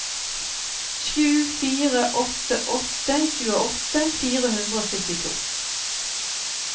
sju fire åtte åtte tjueåtte fire hundre og syttito